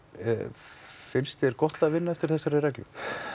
finnst þér gott að vinna eftir þessari reglu